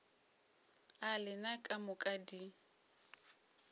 a lena ka moka di